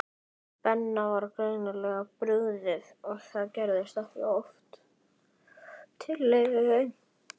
Harpa, hvað er á innkaupalistanum mínum?